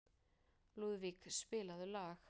Lúðvík, spilaðu lag.